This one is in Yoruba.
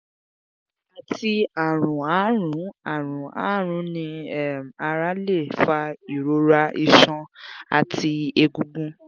ati arun aarun arun aarun ni um ara le fa irora iṣan ati egungun